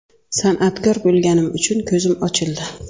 San’atkor bo‘lganim uchun ko‘zim ochildi.